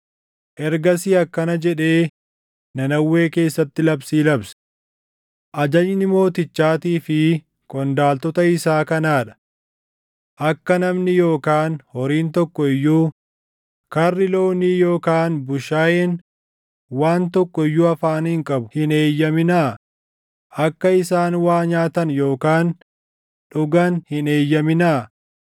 Ergasii akkana jedhee Nanawwee keessatti labsii labse: “Ajajni mootichaatii fi qondaaltota isaa kanaa dha: Akka namni yookaan horiin tokko iyyuu, karri loonii yookaan bushaayeen waan tokko iyyuu afaaniin qabu hin eeyyaminaa; akka isaan waa nyaatan yookaan dhugan hin eeyyaminaa.